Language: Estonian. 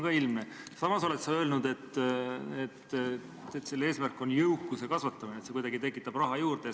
Veel oled sa öelnud, et reformi eesmärk on jõukuse kasvatamine, et see tekitab raha juurde.